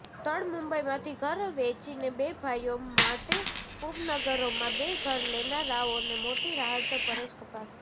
તળ મુંબઈમાંથી ઘર વેચીને બે ભાઈઓ માટે ઉપનગરોમાં બે ઘર લેનારાઓને મોટી રાહતઃ પરેશ કપાસી